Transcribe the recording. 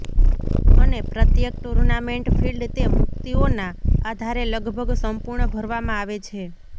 અને પ્રત્યેક tournament field તે મુક્તિઓના આધારે લગભગ સંપૂર્ણ ભરવામાં આવે છે